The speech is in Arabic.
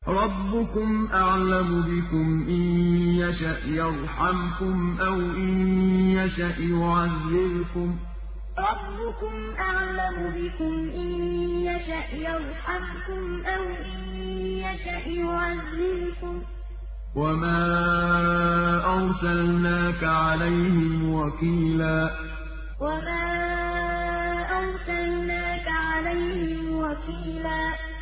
رَّبُّكُمْ أَعْلَمُ بِكُمْ ۖ إِن يَشَأْ يَرْحَمْكُمْ أَوْ إِن يَشَأْ يُعَذِّبْكُمْ ۚ وَمَا أَرْسَلْنَاكَ عَلَيْهِمْ وَكِيلًا رَّبُّكُمْ أَعْلَمُ بِكُمْ ۖ إِن يَشَأْ يَرْحَمْكُمْ أَوْ إِن يَشَأْ يُعَذِّبْكُمْ ۚ وَمَا أَرْسَلْنَاكَ عَلَيْهِمْ وَكِيلًا